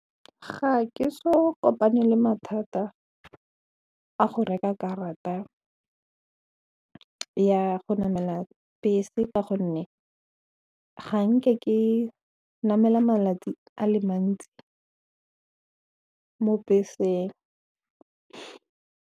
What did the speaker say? Ga ke so kopane le mathata a go reka karata ya go namela bese ka gonne ga nke ke namela malatsi a le mantsi mo beseng.